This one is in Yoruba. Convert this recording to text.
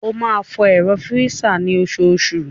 Wá máa fọ ẹ̀rọ fírísà ni osoosù